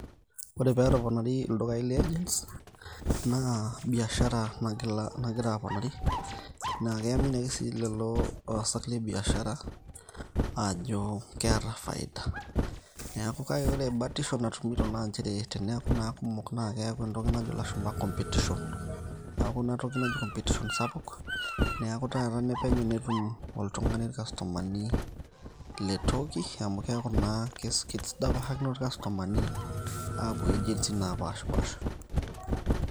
Ore pee etoponari ildukai le agents naa biashara nagira aponari naa kaimini ake sii lelo aasak le biashara ajo keeta faida. Kake ore batisho natuminoto naa teneeku naa kumok naa keyau entoki najo ilashumba competition, neeku ina toki naji competition sapuk neeku taata penyo netum oltung'ani irkastomani le toki amu keeku naa kidapashakino ikastomani aapuo agents naapashipaasha.